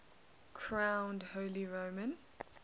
crowned holy roman